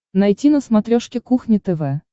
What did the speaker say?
найти на смотрешке кухня тв